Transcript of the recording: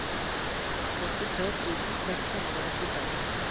førtitre tusen seks hundre og nittifem